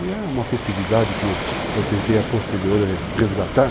E é uma festividade que eu tentei a posteriori resgatar.